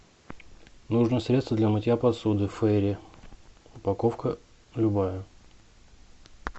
нужно средство для мытья посуды фейри упаковка любая